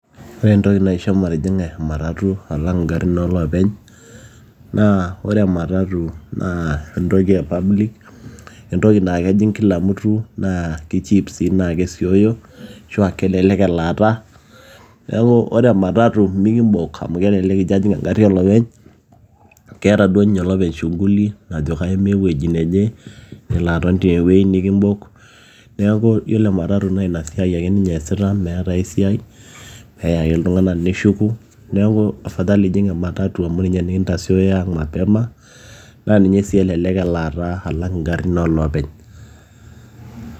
Ore entoki naisho matijing'a ematatu alang ingarin ooloopeny naa ore ematatu naa entoki s public, entoki naa kejing kila mtu kaa keichip sii naa kesiioyo naa kelelek elaata neeku ore ematatu imikimbok amu kelelek ijio ajing engari olopeny keeta duo ninye olopeny shuguli najo kaimaa ewueji neje nelo aton tiae wueji nikimbok neeku ore ematatu naa ina siai ake ninye eeesita meeta meeta ae siiai peya ake iltung'anak neshuku neeku afadhali ijing ematatu amu ninye nikintasiooyo mapema amu ninye sii elelek elaata alang ingarin ooloopeny.